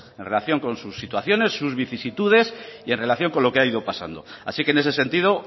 en relación con sus situaciones sus vicisitudes y en relación con lo que ha ido pasando así que en ese sentido